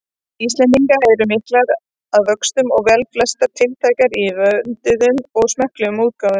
Íslendinga eru miklar að vöxtum og velflestar tiltækar í vönduðum og smekklegum útgáfum.